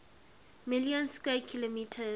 million square kilometers